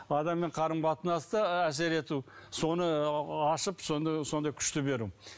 адаммен қарым қатынаста әсер ету соны ашып сондай күшті беру